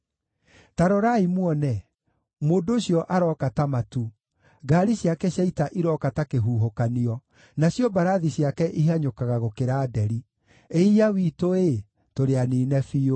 Ta rorai muone! Mũndũ ũcio aroka ta matu, ngaari ciake cia ita irooka ta kĩhuhũkanio, nacio mbarathi ciake ihanyũkaga gũkĩra nderi. Ĩiya witũ-ĩ! Tũrĩ aniine biũ.